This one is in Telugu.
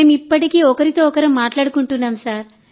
మేం ఇప్పటికీ ఒకరితో ఒకరు మాట్లాడుకుంటున్నాం